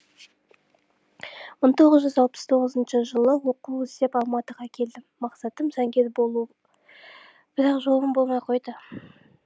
мың тоғыз жүз алпыс тоғызыншы жылы оқу іздеп алматыға келдім мақсатым заңгер болу бірақ жолым болмай қойды